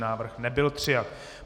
Návrh nebyl přijat.